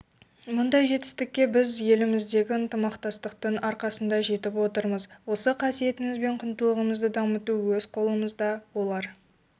мұндай жетістікке біз еліміздегі ынтымақтастықтың арқасында жетіп отырмыз осы қасиетіміз бен құндылығымызды дамыту өз қолымызда олар